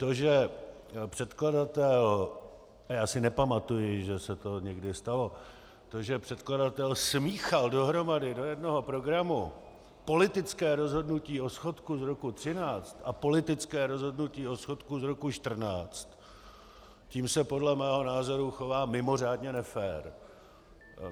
To, že předkladatel, a já si nepamatuji, že se to někdy stalo, to, že předkladatel smíchal dohromady do jednoho programu politické rozhodnutí o schodku z roku 2013 a politické rozhodnutí o schodku z roku 2014, tím se podle mého názoru chová mimořádně nefér.